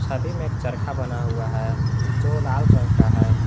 छवि में एक चरखा बना हुआ है जो लाल रंग का है।